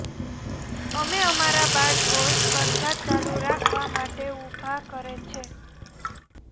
અમે અમારા બાળકો સ્પર્ધા ચાલુ રાખવા માટે ઊભા કરે છે